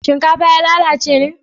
shinkafa ya lalace ne?